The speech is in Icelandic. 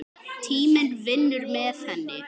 Tíminn vinnur með henni.